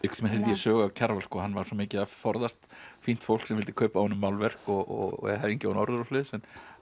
sögu af Kjarval hann var svo mikið að forðast fínt fólk sem vildi kaupa af honum málverk og hengja á hann orður og svoleiðis það